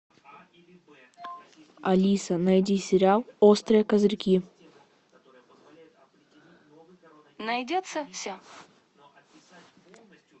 алиса найди сериал острые козырьки